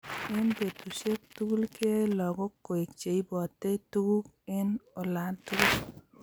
Eng betusiek tugul keyai lagok koek cheibotei tuguk eng olatugul